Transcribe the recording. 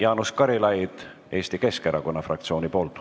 Jaanus Karilaid Eesti Keskerakonna fraktsiooni nimel.